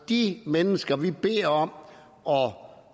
de mennesker vi beder om